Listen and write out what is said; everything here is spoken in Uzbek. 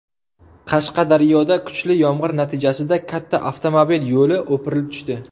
Qashqadaryoda kuchli yomg‘ir natijasida katta avtomobil yo‘li o‘pirilib tushdi .